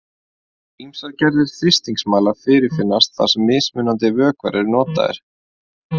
Ýmsar gerðir þrýstingsmæla fyrirfinnast þar sem mismunandi vökvar eru notaðir.